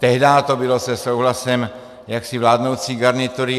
Tehdy to bylo se souhlasem jaksi vládnoucí garnitury.